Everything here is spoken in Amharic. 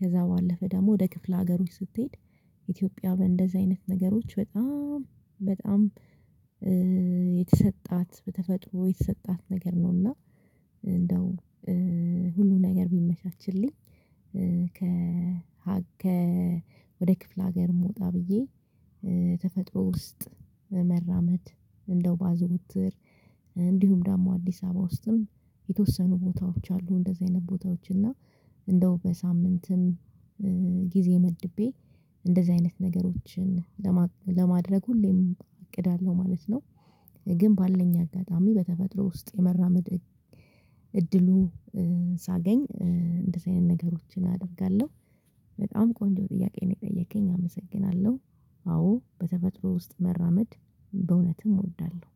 ከዛ ባለፈ ደሞ ወደ ክፍለ ሀገሮች ስትሄድ ኢትዮጵያ በእንደዚህ አይነት ነገሮች በጣም በጣም የተሰጣት በተፈጥሮ የተሰጣት ነገር ነው። እና እንደው ሁሉ ነገር ቢመቻችልኝ ከ ከ ወደ ክፍለ ሀገርም ወጣ ብዬ ተፈጥሮ ውስጥ መራመድ እንደው ባዘዉትር። እንዲሁም ደግሞ አዲሳባ ውስጥም የተወሰኑ ቦታዎች አሉ። እንደዚህ አይነት ቦታዎች እና እንደው በሳምንትም ጊዜ መድቤ እንደዚህ አይነት ነገሮችን ለማድረግ ሁሌም እቅድ አለው ማለት ነው። ግን ባለኝ አጋጣሚ በተፈጥሮ ውስጥ የመራመድ እድሉ ሳገኝ እንደዚ አይነት ነገሮችን አደርጋለው። በጣም ቆንጆ ጥያቄ ነው የጠየከኝ አመሰግናለው። አዎ በተፈጥሮ ውስጥ መራመድ በእዉነትም እወዳለው።